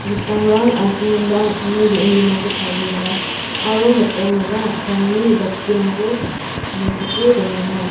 mitamrang asongenba an·tangni be·en bimangko tarienga aro mitamara antangni jaksirangko mesoke dongenga.